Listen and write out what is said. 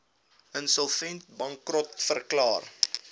insolvent bankrot verklaar